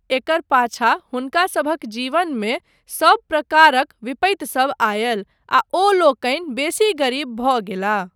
एकर पाछा हुनकासभक जीवनमे सब प्रकारक विपत्तिसब आयल आ ओ लोकनि बेसी गरीब भऽ गेलाह।